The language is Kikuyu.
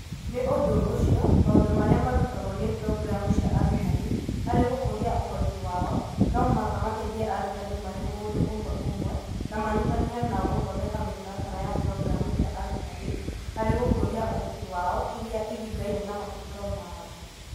Nĩ ũndũ ũcio, maũndũ marĩa marutagwo nĩ programu cia arutani harĩ gũkũria ũhoti wao, no mũhaka mateithie arutani marĩ mũndũ ũmwe ũmwe, na manyitanĩre nao gũthondeka mĩtaratara ya programu cia arutani harĩ gũkũria ũhoti wao ĩrĩa ĩringaine na mabataro mao